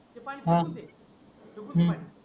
हा हम्म